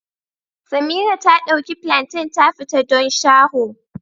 Samira ta ɗauki plantain ta fita don shaho